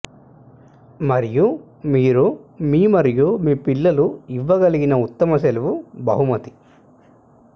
మరియు మీరు మీ మరియు మీ పిల్లలు ఇవ్వగలిగిన ఉత్తమ సెలవు బహుమతి